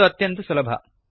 ಇದು ಅತ್ಯಂತ ಸುಲಭ